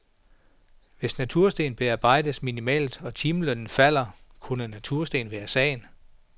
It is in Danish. Hvis natursten bearbejdes minimalt og timelønnen falder kunne natursten være sagen.